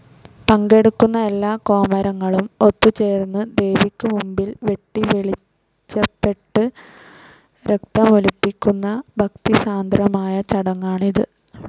പങ്കെടുക്കുന്ന എല്ലാ കോമരങ്ങളും ഒത്തുചേർന്ന് ദേവിക്ക് മുമ്പിൽ വെട്ടിവെളിച്ചപ്പെട്ട് രക്തമൊലിപ്പിക്കുന്ന ഭക്തിസാന്ദ്രമായ ചടങ്ങാണിത്.